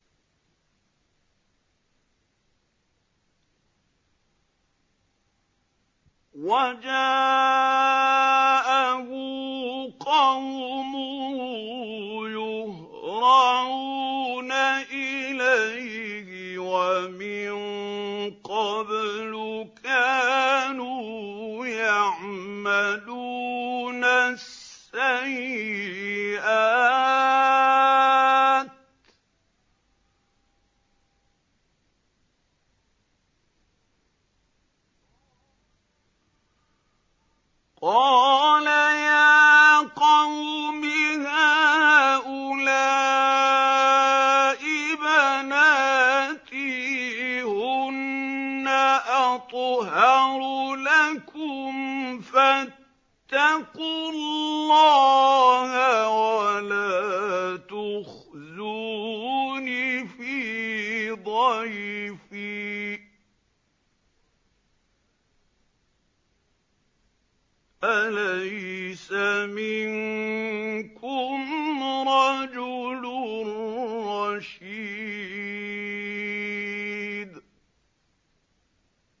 وَجَاءَهُ قَوْمُهُ يُهْرَعُونَ إِلَيْهِ وَمِن قَبْلُ كَانُوا يَعْمَلُونَ السَّيِّئَاتِ ۚ قَالَ يَا قَوْمِ هَٰؤُلَاءِ بَنَاتِي هُنَّ أَطْهَرُ لَكُمْ ۖ فَاتَّقُوا اللَّهَ وَلَا تُخْزُونِ فِي ضَيْفِي ۖ أَلَيْسَ مِنكُمْ رَجُلٌ رَّشِيدٌ